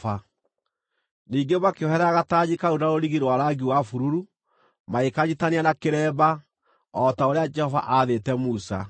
Ningĩ makĩoherera gatanji kau na rũrigi rwa rangi wa bururu, magĩkanyiitithania na kĩremba, o ta ũrĩa Jehova aathĩte Musa.